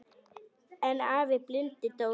En afi blindi hló bara.